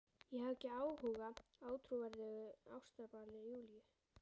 Ég hafði ekki áhuga á ótrúverðugu ástabralli Júlíu.